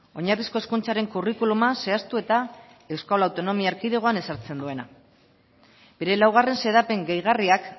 oinarrizko hezkuntzaren kurrikuluma zehaztu eta euskal autonomia erkidegoan ezartzen duena bere laugarren xedapen gehigarriak